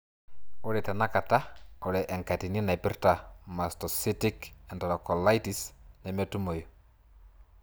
Ore tenakata, ore enkatini naipirta mastocytic enterocolitis nemetumoyu.